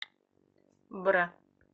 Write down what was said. бра